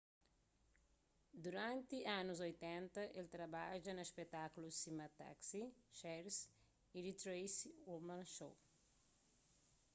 duranti anus 80 el trabadja na spetákulus sima taxi cheers y the tracy ullman show